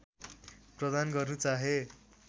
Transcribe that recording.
प्रदान गर्नु चाहे